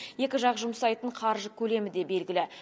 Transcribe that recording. екі жақ жұмсайтын қаржы көлемі де белгілі